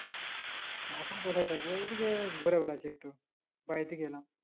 এখন কোথায় থাকবো এইদিকে গুড়ে বেড়াচ্ছি একটু বাহির দিকে এলাম